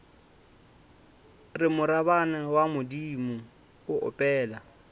re morabana wa bodimo opela